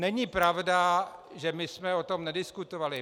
Není pravda, že my jsme o tom nediskutovali.